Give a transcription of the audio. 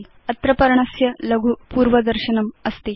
अत्र पर्णस्य लघु पूर्वदर्शनमस्ति